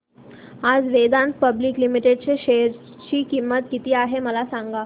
आज Vedanta public limited च्या share ची किंमत किती आहे मला सांगा